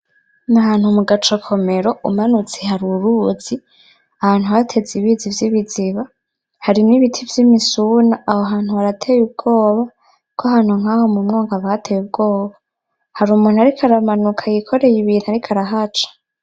Ni ahantu mu gacokomero umanutse hari uruzi ,ahantu hateze ibizi vyibiziba, harimwo ibiti vy'imisuna aho hantu harateye ubwoba, kuko ahantu nkaho mumwonga haba hateye ubwoba. Hari umuntu ariko aramanuka yikoreye ibintu ariko arahaca .